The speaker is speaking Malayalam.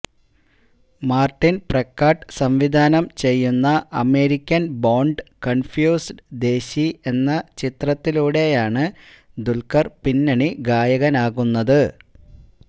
മാര്ട്ടിന് പ്രക്കാട്ട് സംവിധാനം ചെയ്യുന്ന അമേരിക്കന് ബോണ്ഡ് കണ്ഫ്യൂസ്ഡ് ദേശി എന്ന ചിത്രത്തിലൂടെയാണ് ദുല്ഖര് പിന്നണി ഗായകനാകുന്നത്